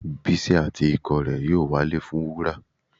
Bísí àti ikọ̀ rẹ yóò walẹ̀ fún wúrà.